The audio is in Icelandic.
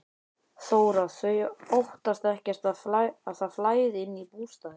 Þóra: Þau óttast ekkert að það flæði inn í bústaðinn?